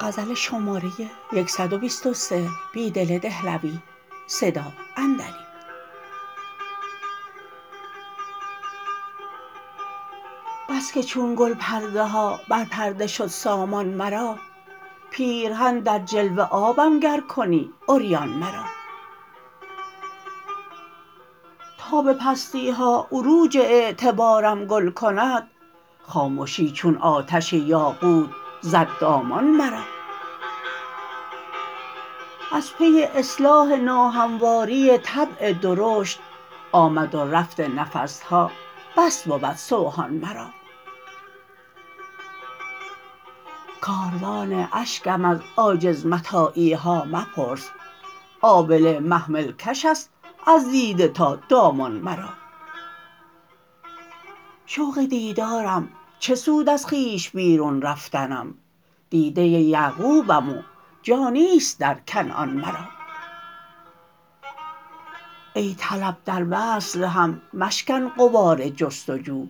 بسکه چون گل پرده ها بر پرده شد سامان مرا پیرهن در جلوه آبم گرکنی عریان مرا تا به پستی ها عروج اعتبارم گل کند خامشی چون آتش یاقوت زد دامان مرا از پی اصلاح ناهمواری طبع درشت آمد ورفت نفسها بس بود سوهان مرا کاروان اشکم از عاجز متاعی ها مپرس آبله محمل کش است از دیده تا دامان مرا شوق دیدارم چه سود ازخویش بیرون رفتنم دیده یعقوبم و جا نیست درکنعان مرا ای طلب دروصل هم مشکن غبارجستجو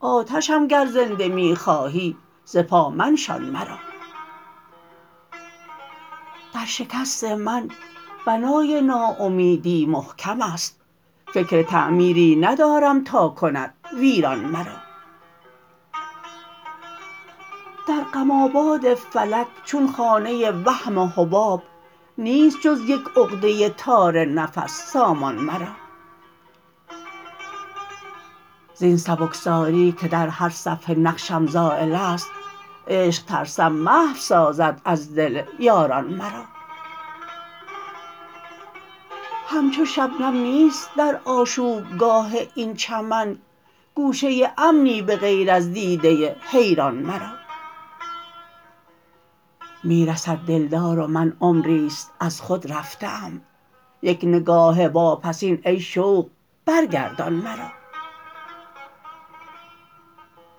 آتشم گر زنده می خوهی ز پا منشان مرا در شکست من بنای ناامیدی محکم است فکر تعمیری ندارم تاکند ویران مرا در غم آباد فلک چون خانه وهم حباب نیست جزیک عقده تار نفس سامان مرا زین سبکساری که در هرصفحه نقشم زایل است عشق ترسم محو سازد از دل یاران مرا همچو شبنم نیست در آشوبگاه این چمن گوشه امنی به غیر از دیده حیران مرا می رسد دلدار رومن عمریست ازخودرفته ام بک نگاه واپسین ای شوق برگردان مرا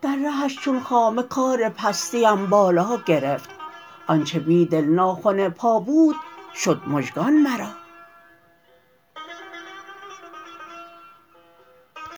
در رهش چون خامه کار پستی ام بالاگرفت آنچه بیدل ناخن پا بود شد مژگان مرا